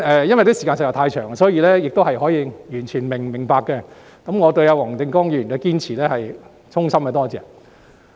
由於時間實在太長，這是完全可以明白的，但我對黃定光議員的堅持實在是衷心感謝。